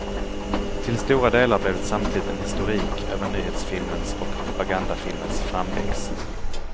Till stora delar blev det samtidigt en historik över nyhetsfilmens och propagandafilmens framväxt.